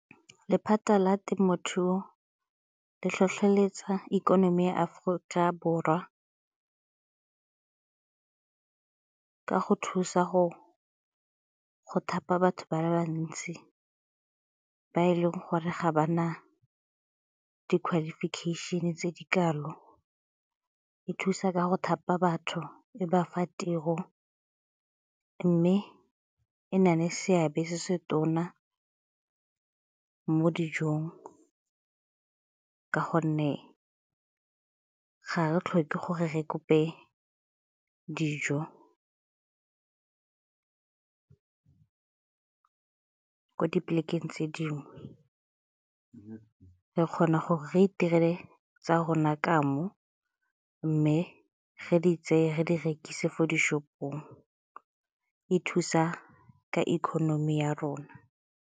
Lephata la temothuo le tlhotlheletsa ikonomi ya Aforika Borwa ka go thusa go thapa batho ba le bantsi ba e leng gore ga ba na di-qualification-e tse di kalo, e thusa ka go thapa batho, e bafa tiro mme e na le seabe se se tona mo dijong ka gonne ga re tlhoke gore re kope dijo ko dipolekeng tse dingwe. Re kgona gore re itirele tsa rona ka mo mme ge di tseye ge di rekisiwe ko di-shop-ong e thusa ka economy ya rona.